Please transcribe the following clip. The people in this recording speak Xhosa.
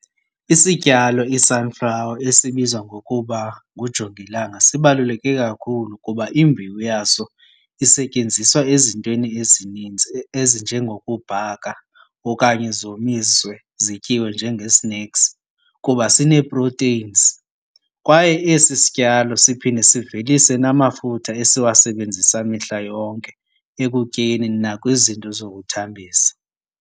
Isityalo i-sunflower esibizwa ngokuba kujongilanga sibaluleke kakhulu kuba imbewu yaso isetyenziswa ezintweni ezininzi ezinjengokubhaka okanye zomiswe zityiwe njenge-snacks kuba sinee-proteins. Kwaye esi sityalo siphinde sivelise namafutha esiwasebenzisa mihla yonke ekutyeni nakwizinto zokuthambisa.